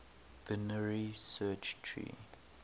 binary search tree